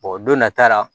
don nata la